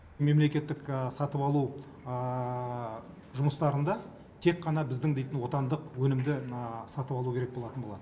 мемлекеттік сатып алу жұмыстарында тек қана біздің дейтін отандық өнімді сатып алу керек болатын болады